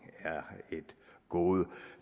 er et gode